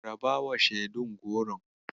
Rabawa shaidun Goron.